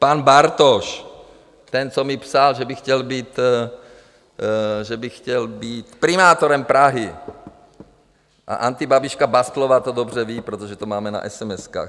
Pan Bartoš, ten, co mi psal, že by chtěl být primátorem Prahy, a antibabiška Bastlová to dobře ví, protože to máme na esemeskách.